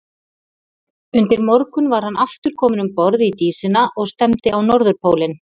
Undir morgun var hann aftur kominn um borð í Dísina og stefndi á Norðurpólinn.